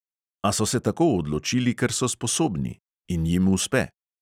A so se tako odločili, ker so sposobni – in jim uspe.